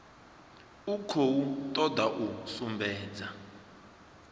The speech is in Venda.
i khou toda u sumbedza